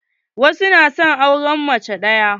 Wasu na son auren mace ɗaya.